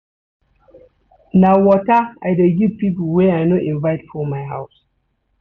Na water I dey give pipo wey I no invite for my house.